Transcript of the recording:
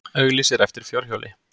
Auglýsir eftir fjórhjóli